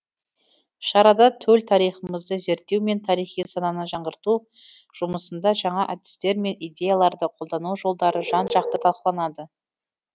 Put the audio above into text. шарада төл тарихымызды зерттеу мен тарихи сананы жаңғырту жұмысында жаңа әдістер мен идеяларды қолдану жолдары жан жақты талқыланады